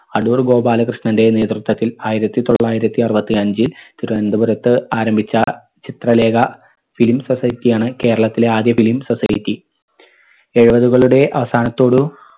അടൂർ ഗോപാലകൃഷ്ണന്റെ നേതൃത്വത്തിൽ ആയിരത്തി തൊള്ളായിരത്തി അറുപത്തി അഞ്ചിൽ തിരുവനന്തപുരത്ത് ആരംഭിച്ച ചിത്രലേഖ film society യാണ് കേരളത്തിലെ ആദ്യ film society എഴുപതുകളുടെ അവസാനത്തോടു